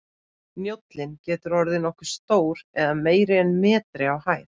Njólinn getur orðið nokkuð stór eða meira en metri á hæð.